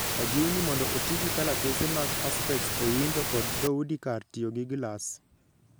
Ojiw ni mondo oti gi kalatese mag Perspex e windo kod dhoudi kar tiyo gi gi glass.